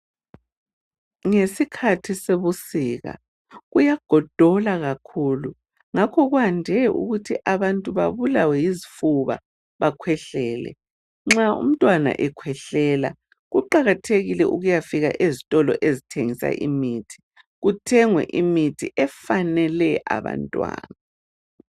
Ngesikhathi sebusika, kuyagodola kakhulu. Ngakho kwande ukuthi abantu babulawe yizifuba, bakhwehlele. Nxa umntwana ekhwehlela, kuqakathekile ukuyafika ezitolo ezithengisa imithi kuthengwe imithi efanele abantwana.